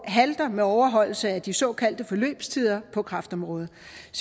halter med overholdelse af de såkaldte forløbstider på kræftområdet